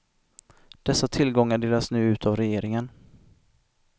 Dessa tillgångar delas nu ut av regeringen.